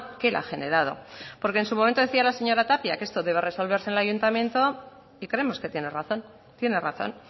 que él ha generado porque en su momento decía la señora tapia que esto debe resolverse en el ayuntamiento y creemos que tiene razón tiene razón